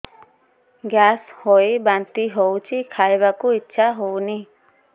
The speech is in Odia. ଗ୍ୟାସ ହୋଇ ବାନ୍ତି ହଉଛି ଖାଇବାକୁ ଇଚ୍ଛା ହଉନି